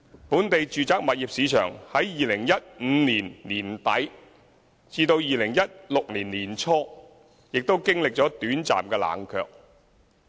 本地住宅物業市場在2015年年底至2016年年初亦經歷短暫的冷卻。